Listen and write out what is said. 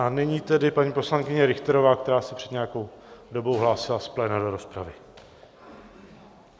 A nyní tedy paní poslankyně Richterová, která se před nějakou dobou hlásila z pléna do rozpravy.